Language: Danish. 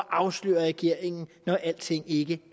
afsløre regeringen når alting ikke